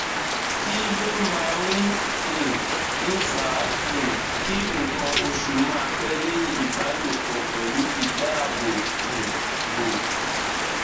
kí ló máa um ń fa um ki nkan osu ma pẹ leyin ìbálòpọ pelu idaabo um bo